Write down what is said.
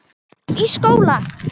Uppi í skóla?